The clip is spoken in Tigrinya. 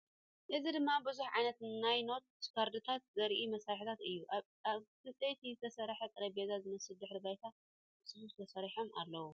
እዚ ድማ ብዙሕ ዓይነት ናይ ኖት ካርድታት ዘርኢ መሳርሕታት እዩ! ኣብ ዕንጨይቲ ዝተሰርሐ ጠረጴዛ ዝመስል ድሕረ ባይታ ብጽፉፍ ተሰሪዖም ኣለዉ።